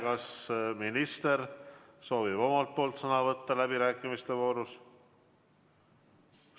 Kas minister soovib omalt poolt sõna võtta läbirääkimiste voorus?